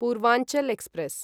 Purvanchal express